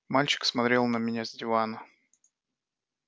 мальчик смотрел на меня с дивана